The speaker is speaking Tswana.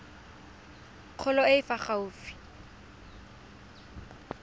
kgolo e e fa gaufi